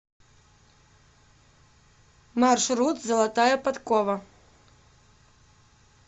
маршрут золотая подкова